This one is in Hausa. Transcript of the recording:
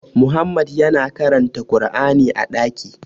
Muhammadu yana karanta kur'ani a ɗaki